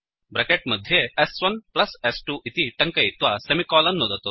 bracket मध्ये s1स्2 इति टङ्कयित्वा सेमिकोलन् नुदतु